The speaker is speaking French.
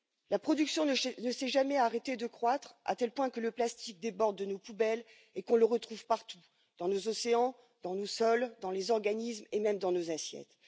La production ne s'est jamais arrêtée de croître, à tel point que le plastique déborde de nos poubelles et qu'on le retrouve partout dans nos océans, dans nos sols, dans les organismes et même dans nos assiettes.